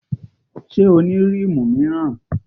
Ṣé o ní rímù míràn?